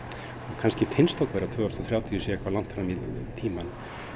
kannski finnst okkur að tvö þúsund og þrjátíu sé eitthvað langt fram í tímann